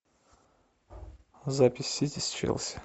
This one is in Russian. запись сити с челси